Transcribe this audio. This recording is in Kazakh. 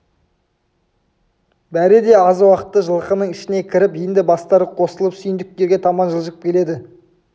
бәрі де аз уақытта жылқының ішіне кіріп енді бастары қосылып сүйіндіктерге таман жылжып келеді